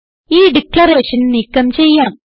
ഈ ഡിക്ലറേഷൻ നീക്കം ചെയ്യാം